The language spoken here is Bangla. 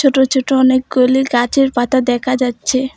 ছুটো ছুটো অনেকগুলি গাচের পাতা দেকা যাচ্ছে।